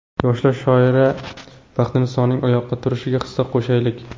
Yosh shoira Baxtinisoning oyoqqa turishiga hissa qo‘shaylik!.